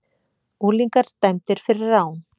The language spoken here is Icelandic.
Unglingar dæmdir fyrir rán